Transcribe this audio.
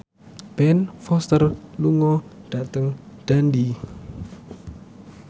Ben Foster lunga dhateng Dundee